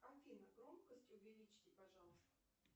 афина громкость увеличьте пожалуйста